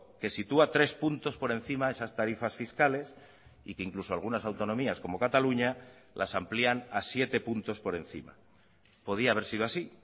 que sitúa tres puntos por encima esas tarifas fiscales y que incluso algunas autonomías como cataluña las amplían a siete puntos por encima podía haber sido así